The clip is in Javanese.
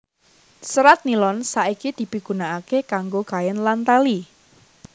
Serat nilon saiki dipigunakaké kanggo kain lan tali